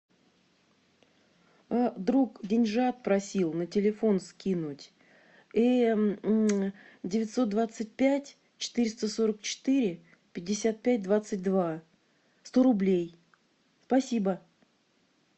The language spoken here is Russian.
друг деньжат просил на телефон скинуть девятьсот двадцать пять четыреста сорок четыре пятьдесят пять двадцать два сто рублей спасибо